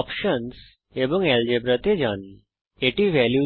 options বিকল্প এবং algebra বীজগণিত তে যান